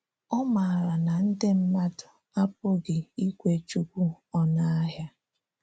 Ọ̀ màrà na ndị mmádụ̀ apụghị ikwé Chúkwú ònụ̀ àhịa.